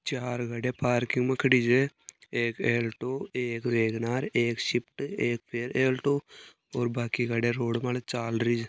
चार गाड़िया पार्किंग खड़ी है एक एल्टो एक वेगनार एक सिफ्ट एक आल्टो और बाकी गाड़िया रोड पर चाल रही छे।